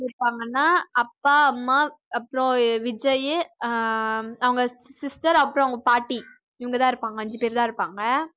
இருப்பாங்கனா அப்பா அம்மா அப்புறம் விஜய் அஹ் அவங்க sister அப்புறம் அவங்க பாட்டி இவங்க தான் இருப்பாங்க அஞ்சி பேர்தான் இருப்பாங்க